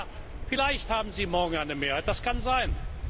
Ja, vielleicht haben Sie morgen eine Mehrheit, das kann sein.